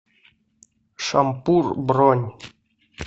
шампур бронь